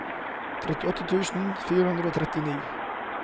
trettiåtte tusen fire hundre og trettini